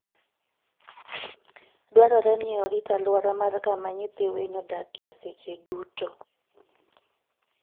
Dwarore ni oriti aluora mar kama nyithii winy odakie seche duto.